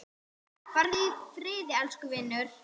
Farðu í friði, elsku vinur.